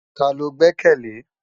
Tá ló gbèkèlé?